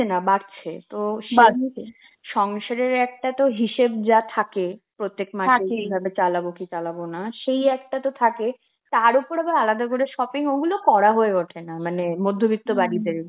না বাড়ছে, তো সংসারের একটা হিসাব যা থাকে প্রত্যেক মাসে এইভাবে চালাবো কি চালাবো না, সেই একটা তো থাকে, তার ওপরে আবার আলাদা করে shopping, ওগুলো করা হয়ে ওঠেনা, মানে মধ্যবিত্ত বাড়িতে.